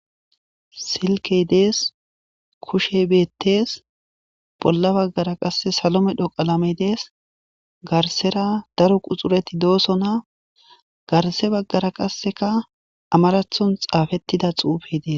silkey dees, kushe bettees bolla baggara qasse salo medho qalame dees, garsera daro quxureti doosona, garse baggara qasseka amarathon xaafettida xuufe dees,